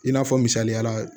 I n'a fɔ misaliya la